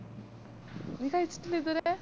നീ കയിച്ചിറ്റില്ല ഇതുവരെ